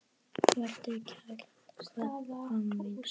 Vertu kært kvödd, mamma mín.